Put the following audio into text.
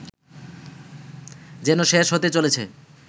যেন শেষ হতে চলেছে